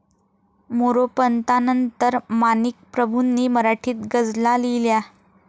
मोरोपंतांनंतर माणिकप्रभूंनी मराठीत गझला लिहिल्या.